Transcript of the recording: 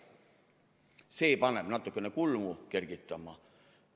See paneb natukene kulmu kergitama.